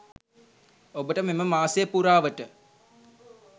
ඔබට මෙම මාසය පුරාවට